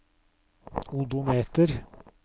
odometer